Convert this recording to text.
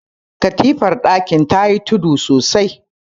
katifar dakin ta yi tudu sosai